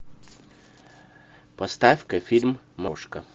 поставь ка фильм мошка